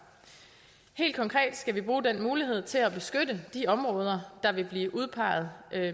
helt konkret skal vi bruge den mulighed til at beskytte de områder der vil blive udpeget